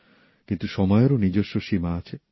কিন্তু সময়েরও নিজস্ব সীমা আছে